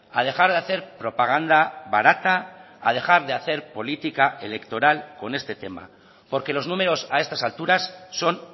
a dejar de hacer propaganda barata a dejar de hacer política electoral con este tema porque los números a estas alturas son